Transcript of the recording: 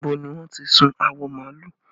Níbo ni wọ́n ti sun awọ màálù?